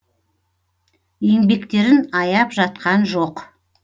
еңбектерін аяп жатқан жоқ